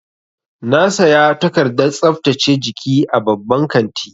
Na saya takardar tsaftace jiki a babban kanti.